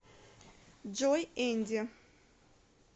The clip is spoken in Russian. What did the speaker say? джой энди